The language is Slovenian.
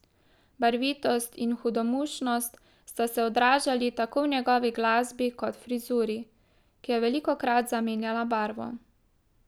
Barvitost in hudomušnost sta se odražali tako v njegovi glasbi kot frizuri, ki je velikokrat zamenjala barvo.